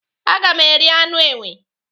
Aga m eri anụ enwe.